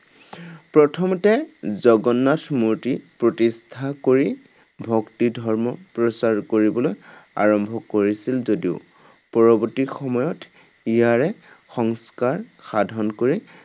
প্ৰথমতে জগন্নাথ মূৰ্তি প্ৰতিষ্ঠা কৰি, ভক্তি ধৰ্ম প্ৰচাৰ কৰিবলৈ আৰম্ভ কৰিছিল যদিও, পৰৱৰ্তী সময়ত ইয়াৰে সংস্কাৰ সাধন কৰি